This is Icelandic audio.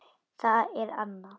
Það er Anna.